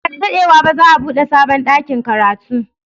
Ba da daɗewa ba za a buɗe sabon ɗakin karatu.